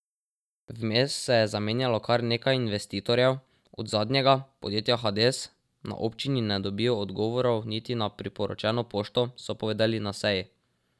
Vmes se je zamenjalo kar nekaj investitorjev, od zadnjega, podjetja Hades, na občini ne dobijo odgovorov niti na priporočeno pošto, so povedali na seji.